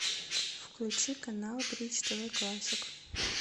включи канал бридж тв классик